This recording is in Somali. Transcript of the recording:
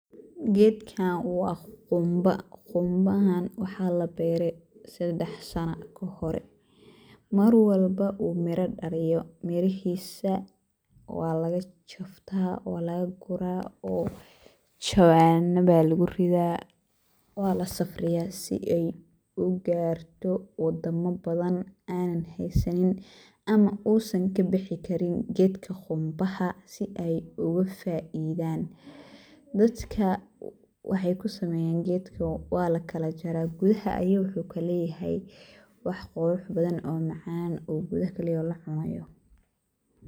Gedkaan waa quunba quunbahaan waxaa laa beere sadeex saano kaahore. maar walboo uu miira dhaaliyo miriihisa waa lagaa jaftaa waa lagaa guraa oo jawaana baa laguu riida waa laa safriiya sii eey uu gaarto wadaama baadan anaan heysaanin ama uusan kaa bixii kariin gedkaa qunbaaha sii eey ogaa faaidaan. dadkaa waxey kuu sameyaan gedkaa waala kalaa jaara gudaaha ayu wuxu kaa leyahay wax qurux badaan oo macaan uu gudaaha kaa leyahay laa cunaayo.